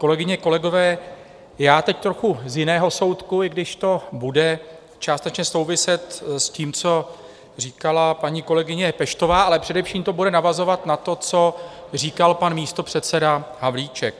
Kolegyně, kolegové, já teď trochu z jiného soudku, i když to bude částečně souviset s tím, co říkala paní kolegyně Peštová, ale především to bude navazovat na to, co říkal pan místopředseda Havlíček.